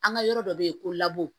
An ka yɔrɔ dɔ bɛ yen ko